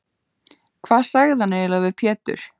Hvað sagði hann eiginlega við Pétur?